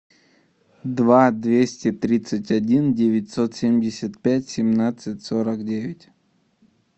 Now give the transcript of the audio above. два двести тридцать один девятьсот семьдесят пять семнадцать сорок девять